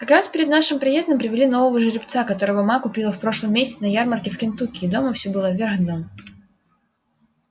как раз перед нашим приездом привели нового жеребца которого ма купила в прошлом месяце на ярмарке в кентукки и дома все было вверх дном